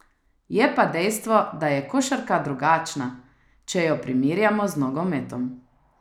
Je pa dejstvo, da je košarka drugačna, če jo primerjamo z nogometom.